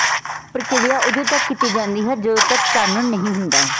ਪ੍ਰਕਿਰਿਆ ਉਦੋਂ ਤੱਕ ਕੀਤੀ ਜਾਂਦੀ ਹੈ ਜਦੋਂ ਤੱਕ ਚਾਨਣ ਨਹੀਂ ਹੁੰਦਾ